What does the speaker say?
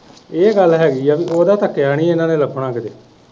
ਇਹ ਗੱਲ ਹੇਗੀ ਆ ਕ ਓਦ੍ਹਾ ਤੱਕਿਆ ਨੀ ਇਹਨਾਂ ਨੇ ਲਬਣਾ ਕਦੇ।